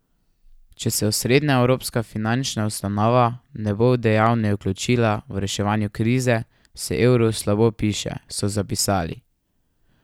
Če se osrednja evropska finančna ustanova ne bo dejavneje vključila v reševanje krize, se evru slabo piše, so zapisali.